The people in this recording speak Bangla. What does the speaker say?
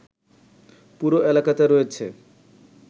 পুরো এলাকাতে রয়েছে